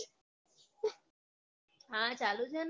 હા ચાલુ છે ને